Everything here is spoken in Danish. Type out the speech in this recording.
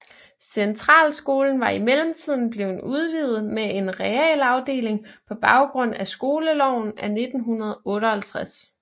Centralskolen var i mellemtiden blevet udvidet med en realafdeling på baggrund af skoleloven af 1958